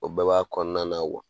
O baba kɔnɔna na wa